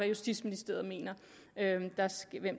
justitsministeriet mener